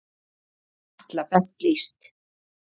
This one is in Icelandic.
Svona er Atla best lýst.